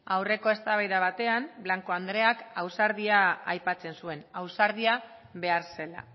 aurreko eztabaida batean blanco andreak ausardia aipatzen zuen ausardia behar zela